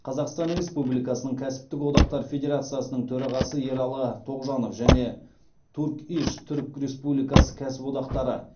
қазақстан республикасының кәсіптік одақтар федерациясының төрағасы ералы тоғжанов және турк иш түрік республикасы кәсіподақтары